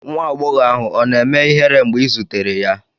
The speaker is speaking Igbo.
Nwa agbọghọ ahụ ọ̀ na-eme ihere mgbe ị zutere ya?